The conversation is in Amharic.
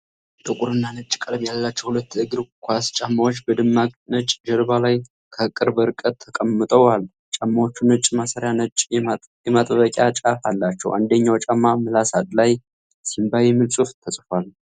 ጥቁርና ነጭ ቀለም ያላቸው ሁለት የእግር ኳስ ጫማዎች በደማቅ ነጭ ጀርባ ላይ ከቅርብ ርቀት ተቀምጠዋል። ጫማዎቹ ነጭ ማሰሪያና ነጭ የማጥበቂያ ጫፍ አላቸው። አንደኛው ጫማ ምላስ ላይ "Simba" የሚል ጽሑፍ ተጽፏል።